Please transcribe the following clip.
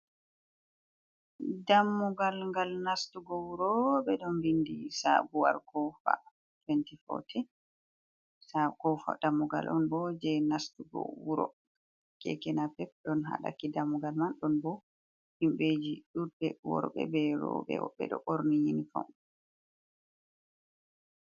Dammugal, ngal nastugo wuro ɓeɗo bindi sabuwar kofa 2014, dammugal on bo je nastugo wuro, keke napep ɗon hadakki dammugal man, ɗon bo himɓeji ɗuɗɗe worɓe berobe beɗo ɓorni yinifom.